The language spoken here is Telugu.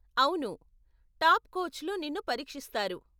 అవును, టాప్ కోచ్లు నిన్ను పరీక్షిస్తారు.